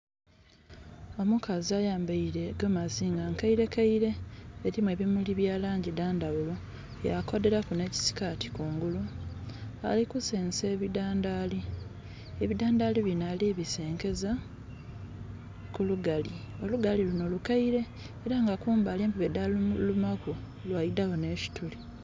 Omukazi ayambaire egomasi nga nkaire kaire erimu ebimuli byalangi dhandhaghulo yakodheraku n'ekisikati kungulu alikusensa ebidhandhali, ebidhandhali bino alibisenkeza kulugali, olugali luno lukaire era nga kumbali empube dhalulumaku lwaidhamu n'kituli.